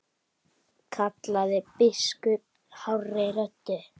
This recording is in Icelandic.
kallaði biskup hárri röddu.